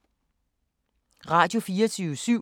Radio24syv